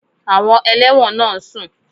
Àwọn ẹlẹ́wọ̀n náà ń sùn